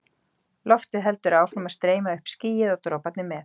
Loftið heldur áfram að streyma upp skýið og droparnir með.